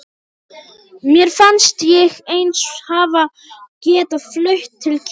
Mér fannst ég eins hafa getað flutt til Kína.